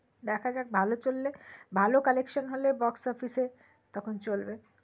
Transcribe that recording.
দেখা যাক ভালো চললে ভালো collection হলে Box Office এ তখন চলবে